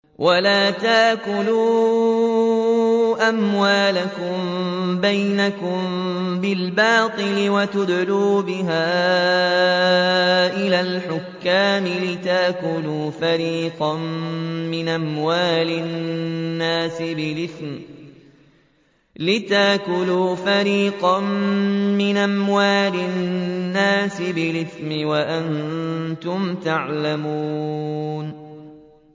وَلَا تَأْكُلُوا أَمْوَالَكُم بَيْنَكُم بِالْبَاطِلِ وَتُدْلُوا بِهَا إِلَى الْحُكَّامِ لِتَأْكُلُوا فَرِيقًا مِّنْ أَمْوَالِ النَّاسِ بِالْإِثْمِ وَأَنتُمْ تَعْلَمُونَ